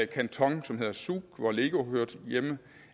kantonen zug hvor lego hører hjemme